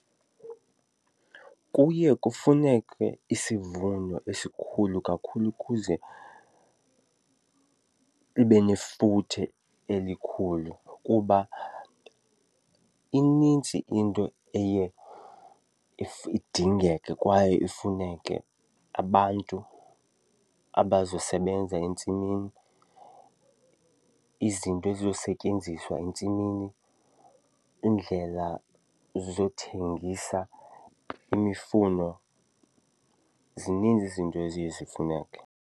Kuye kufuneke isivuno esikhulu kakhulu ukuze libe nefuthe elikhulu kuba inintsi into eye idingeke kwaye ifuneke. Abantu abazosebenza entsimini, izinto ezizosetyenziswa entsimini, iindlela zokuthengisa imifuno, zininzi izinto eziye zifuneke.